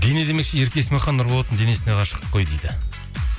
дене демекші ерке есмахан нұрболаттың денесіне ғашық қой дейді